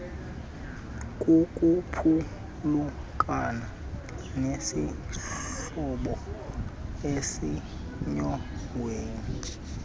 kukuphulukana nesihlobo esisenyongweni